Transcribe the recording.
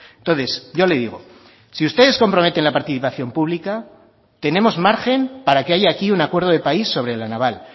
entonces yo le digo si ustedes comprometen la participación pública tenemos margen para que haya aquí un acuerdo de país sobre la naval